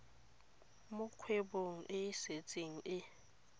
mo kgwebong e setseng e